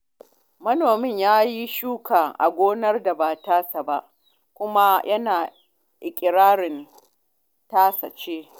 Manomin ya yi shuka a gonar da ba tasa ba, kuma yana iƙirarin tasa ce.